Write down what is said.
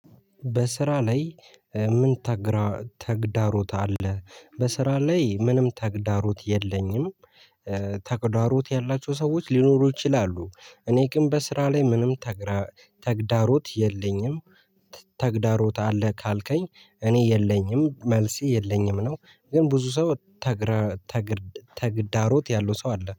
በስራ ላይ ምን ተግዳሮት አለ? በስራ ላይ ምንም ተግዳሮት የለኝም። ተግዳሮት ያላቸው ሰዎች ሊኖሩ ይችላሉ እኔ ግን በስራ ላይ ምንም ተግዳሮት የለኝም። ተግዳሮት አለ ካልከኝ እኔ የለኝም መልሴ የለኝም ነው። ግን ብዙ ሰው ተግራ ተግዳሮት ያለው ሰው አለ